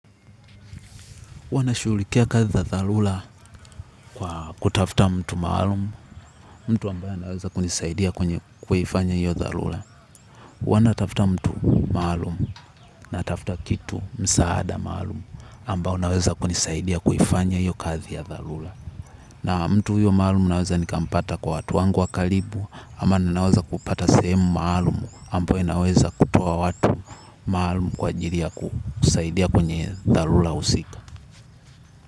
Huwa nashughlikia kazi za dharura kwa kutafuta mtu maalumu, mtu ambaye anaweza kunisaidia kwenye kuifanya hiyo dharura. Huwa natafuta mtu maalum natafuta kitu msaada maalumu ambao unaweza kunisaidia kuifanya hiyo kazi ya dharura. Na mtu huyo maalum naweza nikampata kwa watu wangu wa karibu ama ninaweza kupata sehemu maalum ambayo inaweza kutoa watu maalum kwa ajili ya kusaidia kwenye dharura husika.